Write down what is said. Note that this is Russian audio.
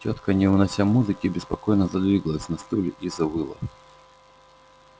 тётка не унося музыки беспокойно задвигалась на стуле и завыла